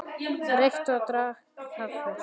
Reykti og drakk kaffi.